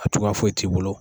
A cogoya foyi t'i bolo.